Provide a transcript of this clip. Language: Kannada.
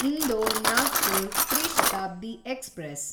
ಇಂದೋರ್ ನಾಗ್ಪುರ್ ತ್ರಿ ಶತಾಬ್ದಿ ಎಕ್ಸ್‌ಪ್ರೆಸ್